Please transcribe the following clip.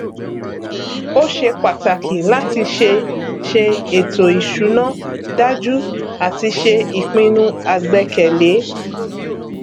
ó ṣe pàtàkì láti ṣe ṣe ètò ìṣúná dájú àti ṣe ìpinnu àgbẹkẹlé